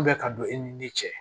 bɛ ka don e ni ne cɛ